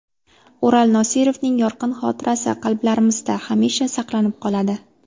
Ural Nosirovning yorqin xotirasi qalblarimizda hamisha saqlanib qoladi.